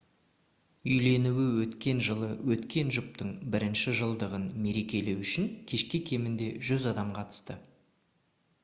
үйленуі өткен жылы өткен жұптың бірінші жылдығын мерекелеу үшін кешке кемінде 100 адам қатысты